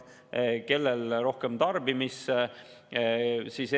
Kellel rohkem tarbimisele,.